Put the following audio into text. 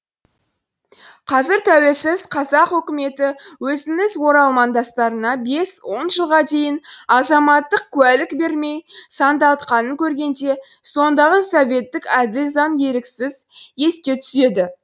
қазір тәуелсіз қазақ өкіметі бес он жылға дейін азаматтық куәлік бермей сандалтқанын көргенде сондағы советтік әділ заң еріксіз еске түседі